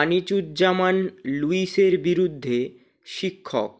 আনিচুজ্জামান লুইসের বিরুদ্ধে শিক্ষক